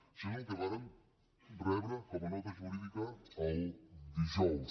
això és el que vàrem rebre com a nota jurídica el dijous